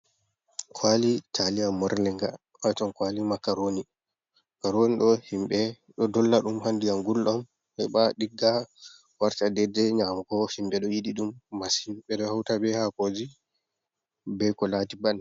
Kwali talia, morlinga waton kwali makaroni, makaroni do himbe do dolla dum ha ndiyam guldam heba digga, warta dede nyamugo, himɓe do yiɗi dum masin ɓeɗo hauta be ha koji be ko laati ban.